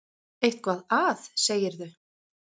Eitthvað að, segirðu.